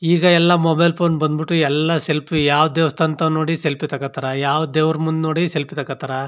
ಈಗ ಎಲ್ಲಾ mobile phone ಬಂದ್ ಬಿಟ್ಟು ಎಲ್ಲಾ ಸೆಲ್ಫಿ ಯಾವ್ ದೇವಸ್ಥಾನ ತನ್ ನೋಡಿ ಸೆಲ್ಫಿ ತೋಕೊತ್ತರೆ ಯಾವ್ ದೇವ್ರ ಮುಂದೆ ನೋಡಿ ಸೆಲ್ಫಿ ತಕೋತ್ತರ್.